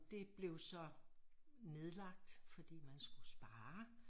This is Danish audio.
Det blev så nedlagt fordi man skulle spare